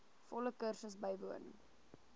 volle kursus bywoon